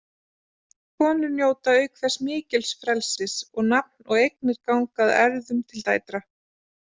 Konur njóta auk þess mikils frelsis og nafn og eignir ganga að erfðum til dætra.